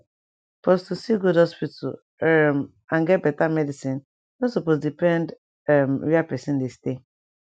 pause to see good hospital um and get beta medicin nor supose depend [um]where pesin dey stay